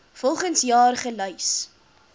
volgens jaar gelys